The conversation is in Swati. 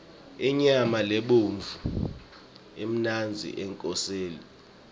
inyama lebovu imnandzi ekoseni